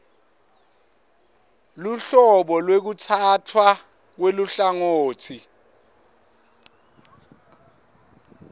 luhlobo lwekutsatfwa kweluhlangotsi